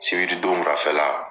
Sibiri don wulafɛla